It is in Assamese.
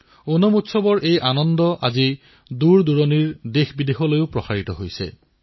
ওনাম বিদেশতো পালন কৰা হয়